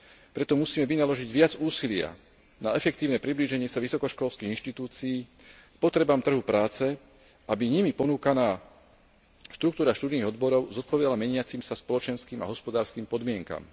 Preto musíme vynaložiť viac úsilia na efektívne priblíženie sa vysokoškolských inštitúcií potrebám trhu práce, aby nimi ponúkaná štruktúra študijných odborov zodpovedala meniacim sa spoločenským a hospodárskym podmienkam.